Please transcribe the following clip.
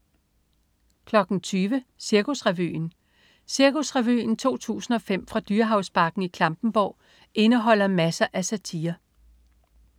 20.00 Cirkusrevyen. Cirkusrevyen 2005 fra Dyrehavsbakken i Klampenborg indeholder masser af satire